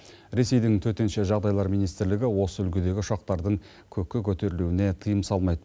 ресейдің төтенше жағдайлар министрлігі осы үлгідегі ұшақтардың көкке көтерілуіне тыйым салмайд